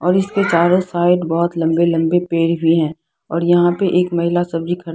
और इसके चारों साइड बहुत लंबे लंबे पेड़ भी है और यहाँ पे एक महिला सब्जी का--